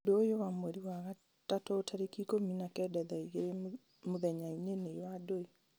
ũndũ ũyũ wa mweri wa gatatũ tarĩki ikũmi na kenda thaa igĩrĩ mũthenya nĩ wa ndũĩ